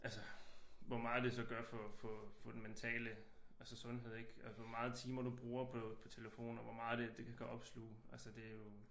Altså hvor meget det så gør for for for den mentale altså sundhed ik altså hvor meget timer du bruger på på telefonen og hvor meget det kan opsluge altså det jo